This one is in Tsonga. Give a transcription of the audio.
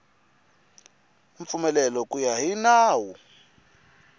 mpfumelelo ku ya hi nawu